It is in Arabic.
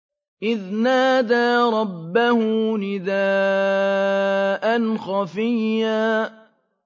إِذْ نَادَىٰ رَبَّهُ نِدَاءً خَفِيًّا